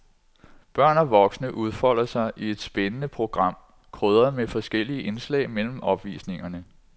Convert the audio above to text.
Børn og voksne udfolder sig i et spændende program, krydret med forskellige indslag mellem opvisningerne.